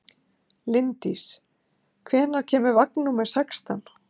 Linddís, hvenær kemur vagn númer sextán?